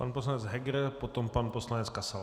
Pan poslanec Heger, potom pan poslanec Kasal.